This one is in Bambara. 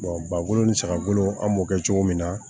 ba bolo ni saga bolo an b'o kɛ cogo min na